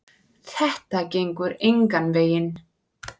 Þetta gengur engan veginn.